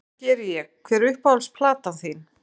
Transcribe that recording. Já, það geri ég Hver er uppáhalds platan þín?